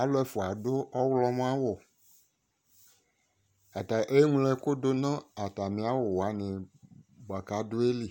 Alu ɛfua ado ɔwlɔmɔ awu Ata eñlo ɛko do no atame awu wane boako adoɛ li